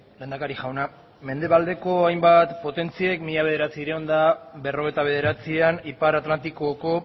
lehendakari jauna mendebaldeko hainbat potentziek mila bederatziehun eta berrogeita bederatzian ipar atlantikoko